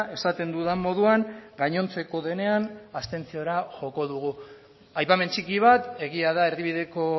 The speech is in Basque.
esaten dudan moduan gainontzeko denean abstentziora joko dugu aipamen txiki bat egia da erdibideko